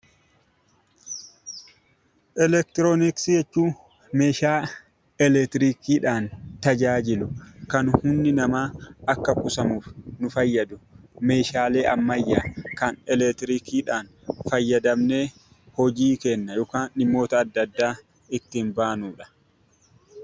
Eleektirooniksii jechuun meeshaa eleektirikii fayyadamuudhaan kan humni namaa akka tajaajiluuf nu fayyadu, haala salphaa ta'een eleektirikiidhaan fayyadamnee hojii keenya yookaan dhimmoota keenya ittiin baanudha.